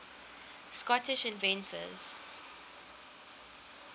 scottish inventors